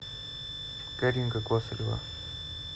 каринка косырева